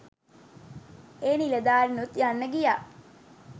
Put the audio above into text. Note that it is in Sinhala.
ඒ නිලධාරිනුත් යන්න ගියා